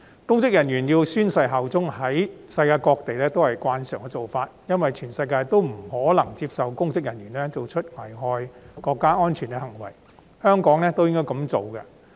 公職人員宣誓效忠是國際慣例，因為全世界也不會接受公職人員作出危害國家安全的行為，香港亦應如此。